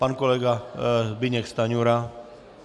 Pan kolega Zbyněk Stanjura.